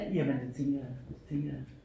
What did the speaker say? Jamen det tænker jeg det tænker jeg